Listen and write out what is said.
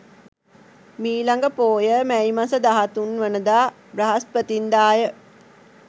මීළඟ පෝය මැයි මස 13 වනදා බ්‍රහස්පතින්දාය.